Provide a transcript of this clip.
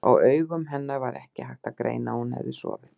Á augum hennar var ekki hægt að greina að hún hefði sofið.